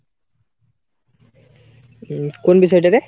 উম, কোন বিষয় টা রে ?